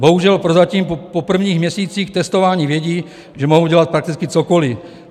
Bohužel prozatím po prvních měsících testování vědí, že mohou dělat prakticky cokoliv.